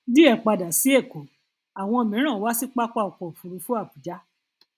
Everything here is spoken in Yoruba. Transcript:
díẹ padà sí èkó àwọn mìíràn wá sí pápá ọkọ òfuurufú abuja